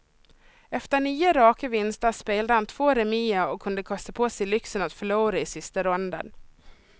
Efter nio raka vinster spelade han två remier och kunde kosta på sig lyxen att förlora i sista ronden.